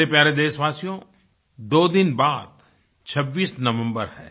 मेरे प्यारे देशवासियो दो दिन बाद 26 नवम्बर है